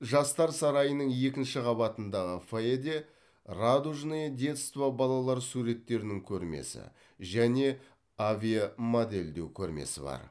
жастар сарайының екінші қабатындағы фойеде радужное детство балалар суреттерінің көрмесі және авиамодельдеу көрмесі бар